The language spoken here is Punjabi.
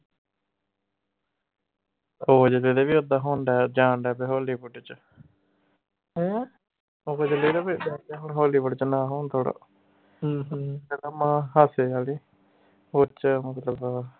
ਉਹ ਜਾਣ ਢਯਾ hollywood ਚ hollywood ਚ ਨਾ ਹੋਣ ਤੋਰਾਂ ਕਹਿੰਦਾ ਮਾਂ